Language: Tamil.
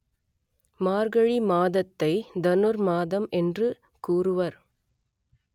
மார்கழி மாதத்தை தனுர் மாதம் என்று கூறுவர்